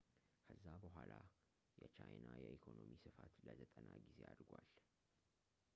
ከዛ በኋላ የቻይና የኢኮኖሚ ስፋት ለ90 ጊዜ አድጓል